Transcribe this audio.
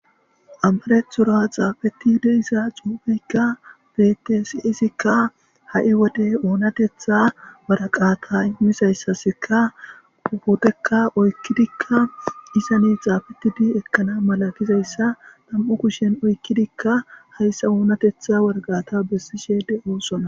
Amarethura xaafetidi issa cuubeykka betesiisikka ha'i wode oonatetha waraqata immisayssaskka uhudekka oykkidikka isane xaafetidi ekkana mala gizayssa tam'u kushen oykkidikka hayssa oonatetha waraqata bessishede oossona